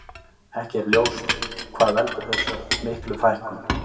Ekki er ljós hvað veldur þessar miklu fækkun.